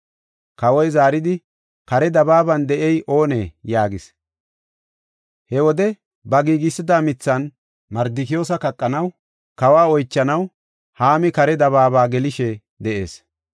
Kawoy zaaridi, “Kare dabaaban de7ey oonee?” yaagis. He wode ba giigisida mithan Mardikiyoosa kaqanaw, kawa oychanaw, Haami kare dabaaba gelishe de7ees.